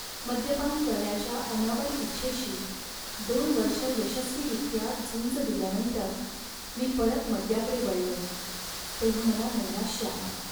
मद्यपान करण्याच्या अनावर इच्छेशी दोन वर्षं यशस्वीरित्या झुंज दिल्यानंतर मी परत मद्याकडे वळलो तेव्हा मला नैराश्य आलं.